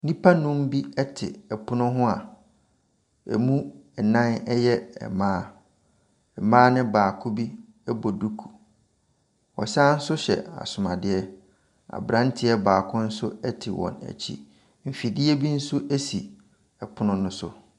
Nnipa nnum bi te pono ho a ɛmu nnan yɛ mmaa, mmaa ne baako bi bɔ duku, ɔsan so hyɛ asomadeɛ. Aberanteɛ baako nso te wɔn akyi. Mfidie bi nso si pono ne so.